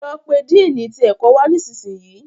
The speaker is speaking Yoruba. lọ pé Dínni tí ẹkọ wá nísìsiyìí.